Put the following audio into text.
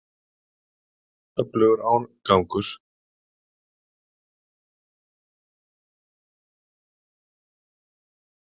Öflugur árgangur.